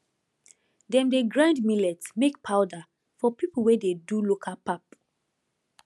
dem dey grind millet make powder for people wey dey do local pap